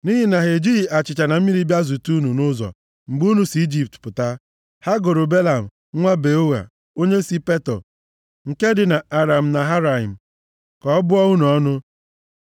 Nʼihi na ha e jighị achịcha na mmiri bịa zute unu nʼụzọ mgbe unu si Ijipt pụta, ha goro Belam, nwa Beoa, onye si Petọ nke dị na Aram Naharaim, ka ọ bụọ unu ọnụ.